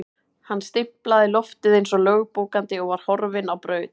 Hann stimplaði loftið eins og lögbókandi og var horfinn á braut.